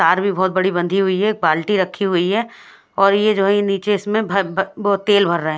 तार भी बोहोत बड़ी बंधी हुई है एक बाल्टी रखी हुई है और ये जो है निचे इसमें तेल भर रहे है।